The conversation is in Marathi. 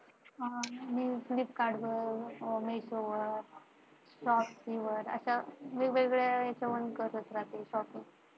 मी flipkart, misho, अश्या वेगवेगळ्या site वरून करत राहते shopping.